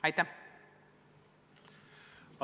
Aitäh!